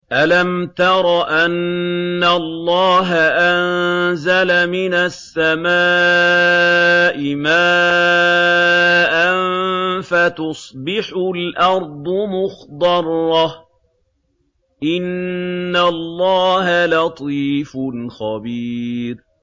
أَلَمْ تَرَ أَنَّ اللَّهَ أَنزَلَ مِنَ السَّمَاءِ مَاءً فَتُصْبِحُ الْأَرْضُ مُخْضَرَّةً ۗ إِنَّ اللَّهَ لَطِيفٌ خَبِيرٌ